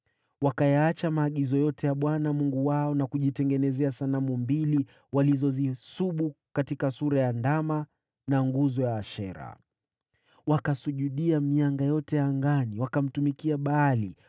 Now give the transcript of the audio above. Wakayaacha maagizo yote ya Bwana Mungu wao na kujitengenezea sanamu mbili, walizozisubu katika sura ya ndama na nguzo ya Ashera. Wakasujudia mianga yote ya angani, na wakamtumikia Baali.